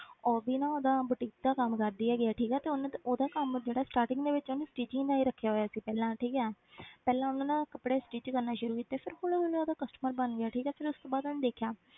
ਉਹ ਵੀ ਨਾ ਉਹਦਾ boutique ਦਾ ਕੰਮ ਕਰਦੀ ਹੈਗੀ ਹੈ ਠੀਕ ਹੈ ਤੇ ਉਹਨੂੰ ਤੇ ਉਹਦਾ ਕੰਮ ਜਿਹੜਾ starting ਦੇ ਵਿੱਚ ਉਹਨੇ stitching ਦਾ ਹੀ ਰੱਖਿਆ ਹੋਇਆ ਸੀ ਪਹਿਲਾਂ ਠੀਕ ਹੈ ਪਹਿਲਾਂ ਉਹਨੇ ਨਾ ਕੱਪੜੇ stitch ਕਰਨੇ ਸ਼ੁਰੂ ਕੀਤੇ ਫਿਰ ਹੌਲੀ ਹੌਲੀ ਉਹਦਾ customer ਬਣ ਗਿਆ ਠੀਕ ਹੈ ਫਿਰ ਉਸ ਤੋਂ ਬਾਅਦ ਉਹਨੇ ਦੇਖਿਆ